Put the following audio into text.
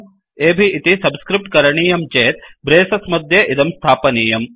अब् इति सब्स्क्रिफ्ट् करणीयं चेत् ब्रेसस् मध्ये इदं स्थापनीयम्